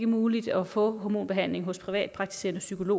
muligt at få hormonbehandling hos privatpraktiserende